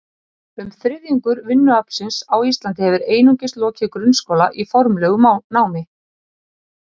Um þriðjungur vinnuaflsins á Íslandi hefur einungis lokið grunnskóla í formlegu námi.